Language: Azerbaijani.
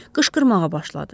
Qışqırmağa başladı.